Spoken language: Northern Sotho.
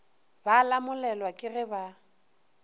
ba lamolelwa ke ge ba